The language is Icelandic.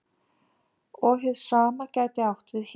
Og hið sama gæti átt við hér.